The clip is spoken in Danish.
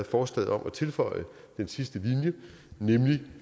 forslaget om at tilføje den sidste linje nemlig